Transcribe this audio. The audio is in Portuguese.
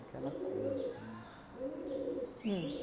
coisa, né? Uhm